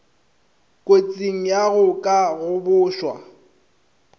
kotsing ya go ka gobošwa